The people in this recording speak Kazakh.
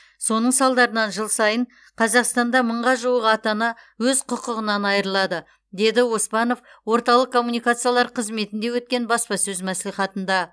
соның салдарынан жыл сайын қазақстанда мыңға жуық ата ана өз құқығынан айырылады деді оспанов орталық коммуникациялар қызметінде өткен баспасөз мәслихатында